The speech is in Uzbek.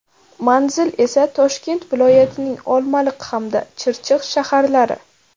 Manzil esa Toshkent viloyatining Olmaliq hamda Chirchiq shaharlari.